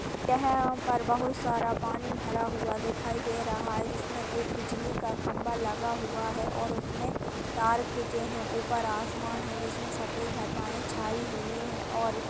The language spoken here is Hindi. यहाँ पर बहोत सारा पानी भरा हुआ दिखाई दे रहा है जिसमे एक बिजली का खंबा लगा हुआ है और उसमे तार खिचे हैं। ऊपर आसमान है जिसमे सफ़ेद घटायें छाई हुई हैं और --